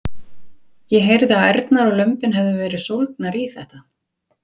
Karen Kjartansdóttir: Ég heyrði að ærnar og lömbin hefðu verið sólgnar í þetta?